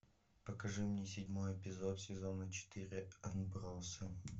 покажи мне седьмой эпизод сезона четыре отбросы